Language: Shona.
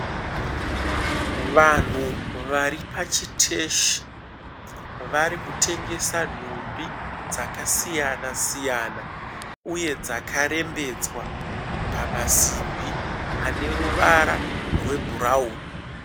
Vanhu varipachiteshi, varikutengesa nhumbi dzakasiyana-siyana. Uye dzakarembedzwa pamasimbi aneruvara rwebhurauni.